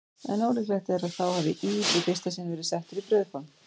En ólíklegt er að þá hafi ís í fyrsta sinn verið settur í brauðform.